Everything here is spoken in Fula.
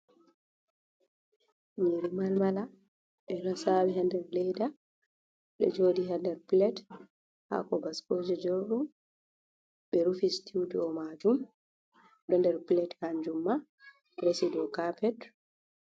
Nyiri malmala ɓe ɗo sawi ha nder leda ɗo jodi ha nder pilet hako baskoje jorɗum ɓe rufi sitiw dow majum ɗo nder pilet han jumma resi ɗo capet.